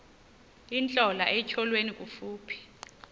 intlola etyholweni kufuphi